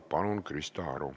Palun, Krista Aru!